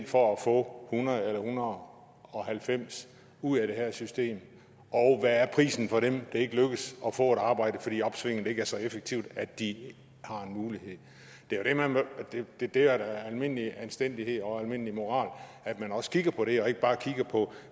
for at få hundrede eller en hundrede og halvfems ud af det her system og hvad er prisen for dem det ikke lykkes at få et arbejde fordi opsvinget ikke er så effektivt at de har en mulighed det er da almindelig anstændighed og almindelig moral at man også kigger på det og ikke bare kigger på